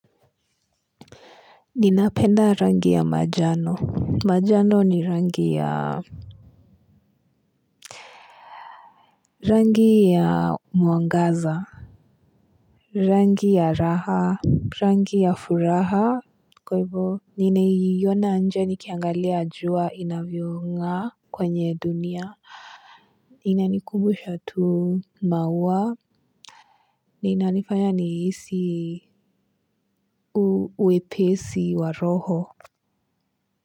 Ninapenda rangi ya majano. Majano ni rangi ya rangi ya mwangaza. Rangi ya raha. Rangi ya furaha. Kwaivo nina iyona nje nikiangalia jua inavyong'aa kwenye dunia inanikumbusha tu maua na inanifanya niisi wepesi wa roho.